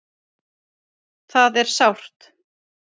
Það er sárt